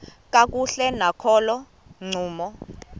kakuhle nakolo ncumo